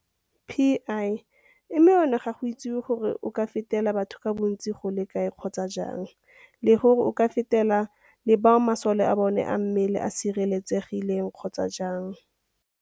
Pi, mme ona ga go itsiwe gore o ka fetela batho ka bontsi go le kae kgotsa jang le gore o ka fetela le bao masole a bona a mmele a sireletsegileng kgotsa jang.